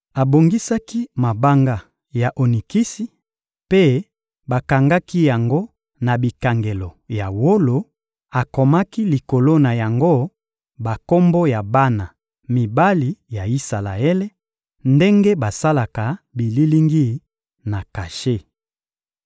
Abongisaki mabanga ya onikisi, mpe bakangaki yango na bikangelo ya wolo; akomaki likolo na yango bakombo ya bana mibali ya Isalaele, ndenge basalaka bililingi na kashe.